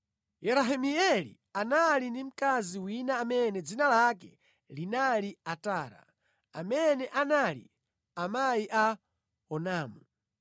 Yerahimeeli anali ndi mkazi wina amene dzina lake linali Atara, amene anali amayi a Onamu.